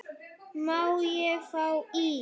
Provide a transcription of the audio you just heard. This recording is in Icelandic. Má ég fá ís?